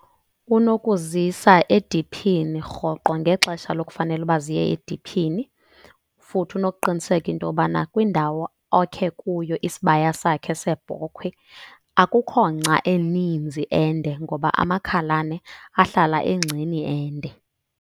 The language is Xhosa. Unokuzisa ediphini rhoqo ngexesha lokufanele uba ziyq ediphini. Futhi unokuqiniseka into yobana kwindawo okhe kuyo isibaya sakhe seebhokhwe akukho ngca eninzi ende, ngoba amakhalane ahlala engceni ende.